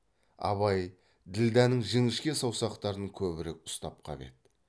абай ділдәнің жіңішке саусақтарын көбірек ұстап қап еді